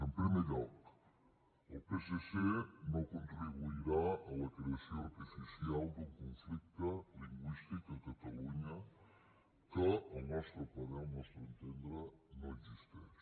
en primer lloc el psc no contribuirà a la creació artificial d’un conflicte lingüístic a catalunya que al nostre parer al nostre entendre no existeix